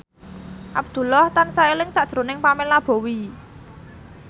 Abdullah tansah eling sakjroning Pamela Bowie